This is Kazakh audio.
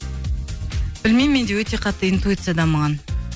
білмеймін менде өте қатты интуиция дамыған